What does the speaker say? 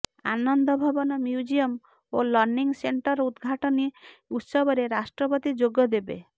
ଆନନ୍ଦ Bhavan museum ଓ learning centre ଉଦଘାଟନୀ ଉତ୍ସବରେ ରାଷ୍ଟ୍ରପତି ଯୋଗ ଦେବେ